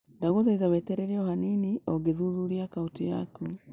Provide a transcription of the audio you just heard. Ndagũthaitha weterere o hanini o ngĩthuthuria akaunti yaku